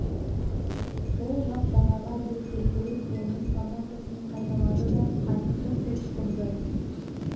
сол жақ жағаға деп геркулес оның командасын қайталады да қайықты кілт бұрды